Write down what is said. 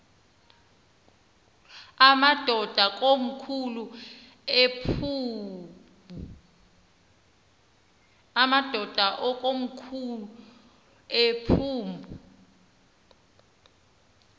amadod akomkhul eqhub